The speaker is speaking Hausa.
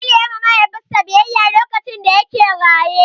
Jamilu ya yi ma Mahaifinsa biyayya lokacin da yake raye.